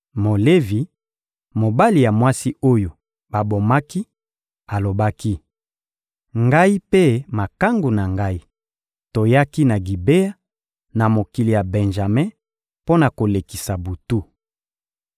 Molevi, mobali ya mwasi oyo babomaki, alobaki: — Ngai mpe makangu na ngai, toyaki na Gibea, na mokili ya Benjame mpo na kolekisa butu.